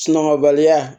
Sunɔgɔbaliya